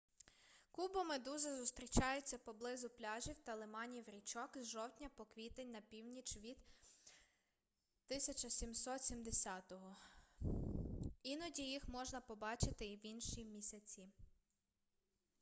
кубомедузи зустрічаються поблизу пляжів та лиманів річок з жовтня по квітень на північ від 1770 іноді їх можна побачити і в інші місяці